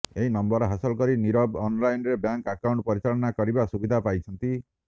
ଏହି ନମ୍ବର ହାସଲ କରି ନିରବ ଅନଲାଇନରେ ବ୍ୟାଙ୍କ ଆକାଉଣ୍ଟ ପରିଚାଳନା କରିବା ସୁବିଧା ପାଇଛନ୍ତି